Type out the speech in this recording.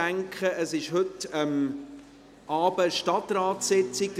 Heute Abend findet in diesem Saal eine Stadtratssitzung statt.